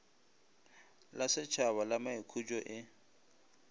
la šetšhaba la maikhutšo e